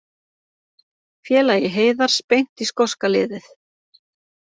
Félagi Heiðars beint í skoska liðið